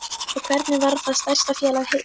Og hvernig varð það stærsta félag heims?